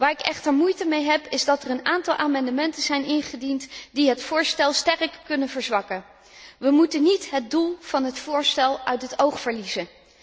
Waar ik echter moeite mee heb, is dat er meerdere amendementen zijn ingediend, die het voorstel sterk kunnen afzwakken. We moeten niet het doel van het voorstel uit het oog verliezen.